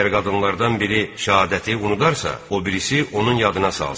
Əgər qadınlardan biri şəhadəti unudarsa, o birisi onun yadına salsın.